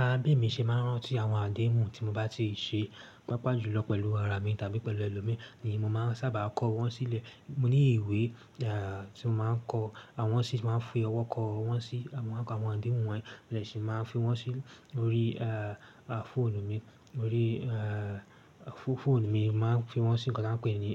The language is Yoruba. Ara bí èmi ṣe máa ń rántí àwọn àdéhùn tí mo bá ti ṣe, pàápàá jùlọ pẹ̀lú ara mi tàbí pẹ̀lú ẹlòmíì ni mo máa ń sábà kọ wọ́n sílẹ̀. Mo ní ìwé tí mo máa ń kọ wọ́n sí tí mo máa ń fi ọwọ́ kọ wọ́n sí àwọn àwọn àdéhùn wọ́n, mo dẹ̀ si máa ń fi wọ́n sí orí fóònù mi. Orí fóònù mi máa ń fi wọ́n sí nǹkan tí wọ́n ń pè ní